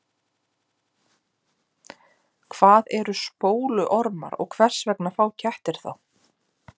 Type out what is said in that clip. Hvað eru spóluormar og hvers vegna fá kettir þá?